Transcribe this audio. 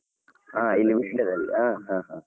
ಆ ಇಲ್ಲಿ ವಿಟ್ಲಾದಲ್ಲಿ ಆ ಅಹ್ ಹಾ.